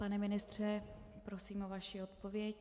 Pane ministře, prosím o vaši odpověď.